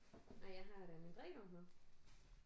Nej jeg har da min drikkedunk med